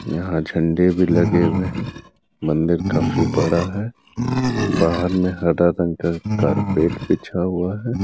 यहाँ झंडे भी लगे हुए हैं। मंदिर काफी बड़ा है। बाहर मे हरा कारपेट बिछा हुआ है।